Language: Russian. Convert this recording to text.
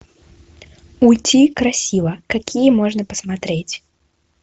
уйти красиво какие можно посмотреть